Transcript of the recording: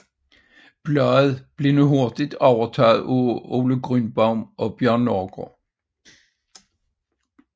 Bladet blev dog hurtigt overtaget af Ole Grünbaum og Bjørn Nørgård